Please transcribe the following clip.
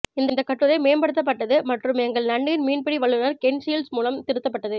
இந்த கட்டுரை மேம்படுத்தப்பட்டது மற்றும் எங்கள் நன்னீர் மீன்பிடி வல்லுநர் கென் ஷுல்ட்ஸ் மூலம் திருத்தப்பட்டது